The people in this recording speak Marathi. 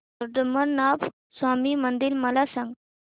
पद्मनाभ स्वामी मंदिर मला सांग